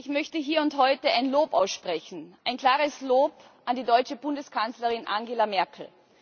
Ich möchte hier und heute ein Lob aussprechen, ein klares Lob an die deutsche Bundeskanzlerin Angela Merkel.